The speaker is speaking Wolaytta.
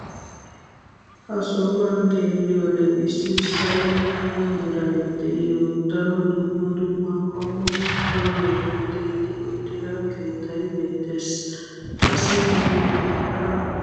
ha sohuwan xeelliyoode issi salo mala meray de'iyo daro dumma dumma qommo qalametun tiyetti uttida keettay beetees. qassi makiinatikka beetoosona.